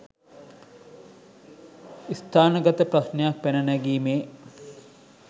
ස්ථානගත ප්‍රශ්නයක් පැන නැගීමේ